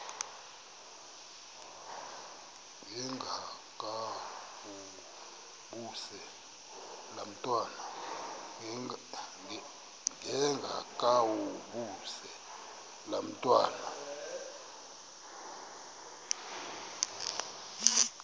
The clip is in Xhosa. ndengakuvaubuse laa ntwana